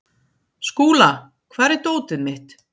Skúla, hvar er dótið mitt?